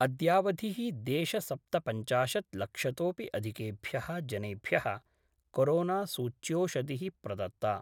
अद्यावधि: देश सप्तपञ्चाशत् लक्षतोपि अधिकेभ्य: जनेभ्य: कोरोनासूच्योषधिः प्रदत्ता